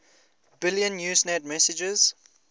billion usenet messages